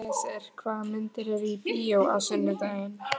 Elíeser, hvaða myndir eru í bíó á sunnudaginn?